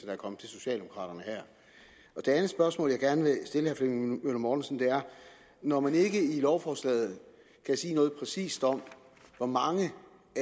er kommet til socialdemokraterne her det anden spørgsmål jeg gerne vil stille herre flemming møller mortensen er når man ikke i lovforslaget kan sige noget præcist om hvor mange